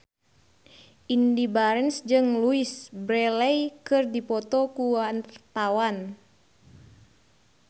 Indy Barens jeung Louise Brealey keur dipoto ku wartawan